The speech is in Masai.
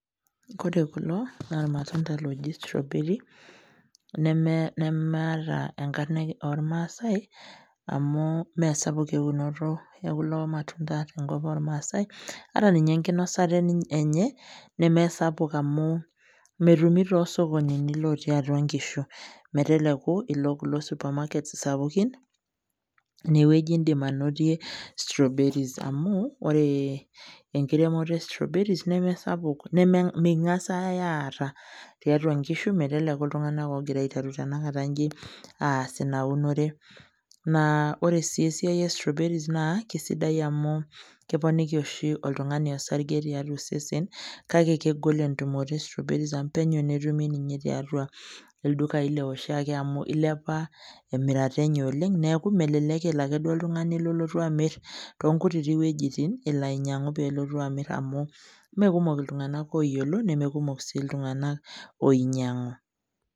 Kore kulo, naa olmatunda oji strawberry, nemaata enkarna olmaasai amu me sapuk eunoto e kulo matunda te nkop olmaasai. Ata ninye enkinosata enye, nesapuk amu metumi too sokonini natii atua inkishu meteleku Ilo Kuna supermarket sapukin, ine wueji indim ainotie strawberry . Amu ore enkiremoto e strawberry nesapuk, nemengass aata tiatua inkishu meteleku iltung'ana ogira aiteru tenakata inji aas Ina unore. Naa ore naa esiai e strawberry naa kesidai amu keponik oshi oltung'ani osarge tiatua osesen ,kake egol entumoto e strawberry amu penyo tenetumi ninche tiatua inkishu neilepa emirata enye amu melelek elo ake oltung'ani duo elo amu nelotu amir too inkutitik wuetin elo ainyang'u pelotu amir amu Mee kumok iltung'ana oyiolo neme kumok sii iltung'ana oinyang'u.